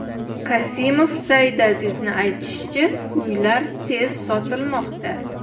Kasimov Saidazizning aytishicha, uylar tez sotilmoqda.